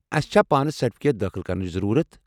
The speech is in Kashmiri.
اسہِ چھا پانہٕ سرٹفکیٹ دٲخل کرنٕچ ضروٗرت؟